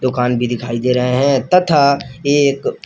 दुकान भी दिखाई दे रहे हैं तथा एक--